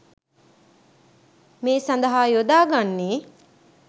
මේ සඳහා යොදා ගන්නේ